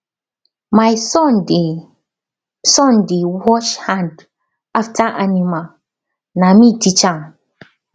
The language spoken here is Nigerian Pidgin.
my son dey son dey wash hand after animal na me teach am